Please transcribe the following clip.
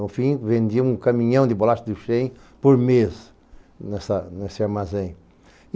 No fim, vendiam um caminhão de bolachas do Chêin por mês nesse nesse armazém.